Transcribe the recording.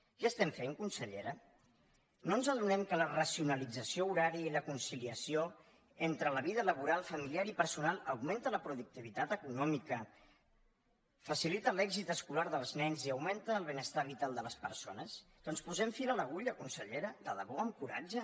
què estem fent consellera no ens adonem que la racionalització horària i la conciliació entre la vida laboral familiar i personal augmenta la productivitat econòmica facilita l’èxit escolar dels nens i augmenta el benestar vital de les persones doncs posem fil a l’agulla consellera de debò amb coratge